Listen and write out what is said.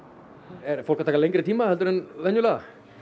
er fólk að taka lengri tíma en venjulega